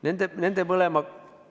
Nende mõlemaga tuleb tegeleda.